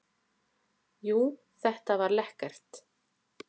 Jú, þetta var lekkert.